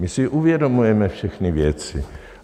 My si uvědomujeme všechny věci.